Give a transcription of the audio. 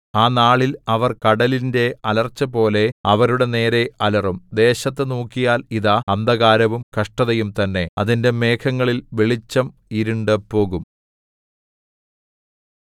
ആ നാളിൽ അവർ കടലിന്റെ അലർച്ചപോലെ അവരുടെ നേരെ അലറും ദേശത്തു നോക്കിയാൽ ഇതാ അന്ധകാരവും കഷ്ടതയും തന്നെ അതിന്റെ മേഘങ്ങളിൽ വെളിച്ചം ഇരുണ്ടുപോകും